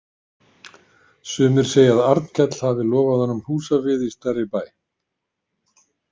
Sumir segja að Arnkell hafi lofað honum húsavið í stærri bæ.